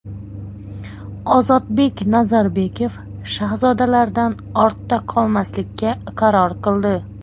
Ozodbek Nazarbekov Shahzodalardan ortda qolmaslikka qaror qildi .